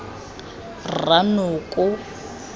rranoko